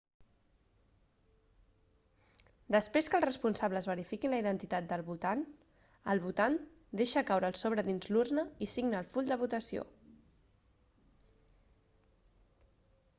després que els responsables verifiquin la identitat del votant el votant deixa caure el sobre dins l'urna i signa el full de votació